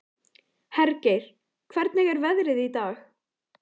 Hergeir, hvernig er veðrið í dag?